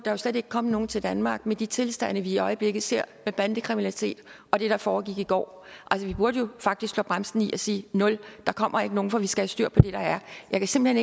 jo slet ikke komme nogen til danmark med de tilstande vi i øjeblikket ser med bandekriminalitet og det der foregik i går altså vi burde jo faktisk slå bremsen i og sige nul der kommer ikke nogen for vi skal have styr på det der er jeg kan simpelt